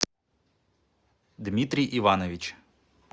дмитрий иванович